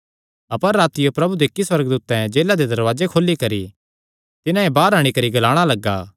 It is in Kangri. अपर रातियो प्रभु दे इक्की सुअर्गदूतैं जेला दे दरवाजे खोली करी तिन्हां बाहर अंणी करी ग्लाणा लग्गा